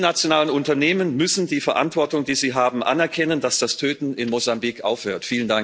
Die multinationalen Unternehmen müssen die Verantwortung, die sie haben, anerkennen, damit das Töten in Mosambik aufhört.